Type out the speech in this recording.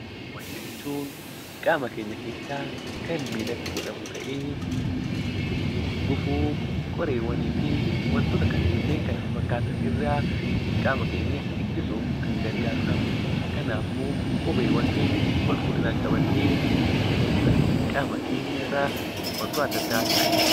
Kopheewwan jechuun qaama keenya keessaa kan miillatti godhamu ta'ee, gufuu, qoreewwanii fi kanneen kana fafakkaatan irraa qaama keenya ittisuuf kan gargaarudhaam. Kanaafuu kopheewwan keenya qulqullinaan qabannee itti fayyadamuudhaan qaama keenya irraa wantoota affa addaa haa ittisnu.